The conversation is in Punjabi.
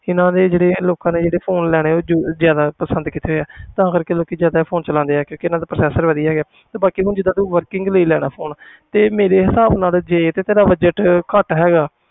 ਇਹਨਾਂ ਦੇ ਜਿਹੜੇ ਇਹ ਲੋਕਾਂ ਨੇ ਜਿਹੜੇ phone ਲੈਣੇ ਉਹ ਯੂ~ ਜ਼ਿਆਦਾ ਪਸੰਦ ਕੀਤੇ ਆ ਤਾਂ ਕਰਕੇ ਲੋਕੀ ਜ਼ਿਆਦਾ ਇਹ phone ਚਲਾਉਂਦੇ ਹੈ ਕਿਉਂਕਿ ਇਹਨਾਂ ਦਾ processor ਵਧੀਆ ਹੈਗਾ ਤੇ ਬਾਕੀ ਹੁਣ ਜਿੱਦਾਂ ਤੂੰ working ਲੈਣਾ phone ਤੇ ਮੇਰੇ ਹਿਸਾਬ ਨਾਲ ਜੇ ਤਾਂ budget ਘੱਟ ਹੈਗਾ,